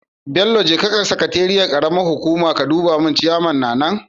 Bello jeka sakateeiyar karamar hukuma ka duba mun ciyaman na nan?